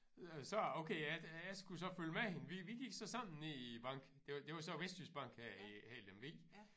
Øh så okay jeg jeg skulle så følge med hende vi vi gik så sammen ned i æ bank det var det var så Vestjyske Bank her i her i Lemvig